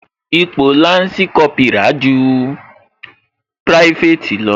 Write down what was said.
Ipò lansi Kópírà ju private lọ